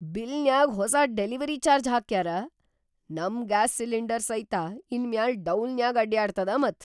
ಬಿಲ್ನ್ಯಾಗ್ ಹೊಸಾ delivery charge ಹಾಕ್ಯಾರ. ನಮ್ ಗ್ಯಾಸ್‌ ಸಿಲಿಂಡರ್ ಸೈತ ಇನ್‌ ಮ್ಯಾಲ್‌ ಡೌಲ್ನ್ಯಾಗ್ ಅಡ್ಯಾಡತದ ಮತ್!